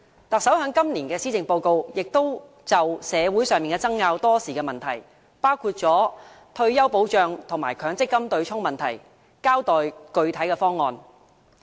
特首在今年的施政報告就社會爭拗多時的問題，包括退休保障、強積金對沖問題交代具體方案。